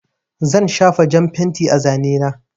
Zan shafa jan fenti a zane na.